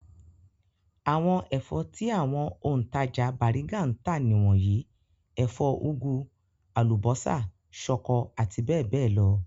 Àwọn ẹ̀fọ́ tí àwọn òǹtajà Bàrígà ń tà nìwọ̀nyí; ẹ̀fọ́ úgú, àlùbọ́sà, ṣọkọ àti bẹ́ẹ̀ bẹ́ẹ̀ lọ.